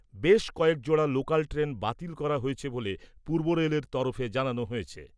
বেশ কয়েক জোড়া লোকাল ট্রেন বাতিল করা হয়েছে বলে পূর্ব রেলের তরফে জানানো হয়েছে।